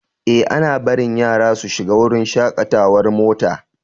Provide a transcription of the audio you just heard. Ee, ana barin yara su shiga wurin shakatawar mota.